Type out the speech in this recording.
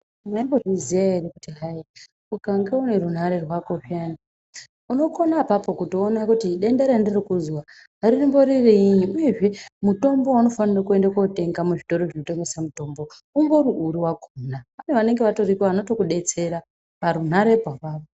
Mwaimbozviziya ere kuti hai ukange une rungare rwako piyani unokone apapo kutoona kuti denda randuri kuzwa rimbori riinyi uyezve mutombo waunofanire kuende kotenga Muzvitoro zvinotengesa mutombo umbori uri wakhona pane vanenga vatoripo vanotokudetsera oarunharepo apapo.